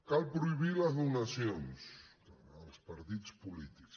cal prohibir les donacions als partits polítics